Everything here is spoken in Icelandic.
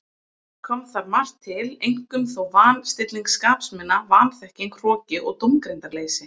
Kom þar margt til, einkum þó van- stilling skapsmuna, vanþekking, hroki og dómgreindarleysi.